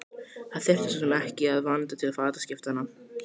Það þurfti svo sem ekki að vanda til fataskiptanna.